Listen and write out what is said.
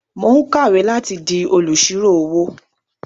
Mò ń kàwé láti di olùṣírò-owó.